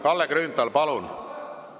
Kalle Grünthal, palun!